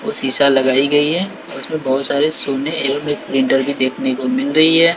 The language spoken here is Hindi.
वो शीशा लगाई गई है उसमें बहोत सारे सोने एवं एक प्रिंटर भी देखने को मिल रही है।